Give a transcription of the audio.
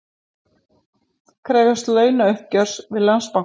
Krefjast launauppgjörs við Landsbankann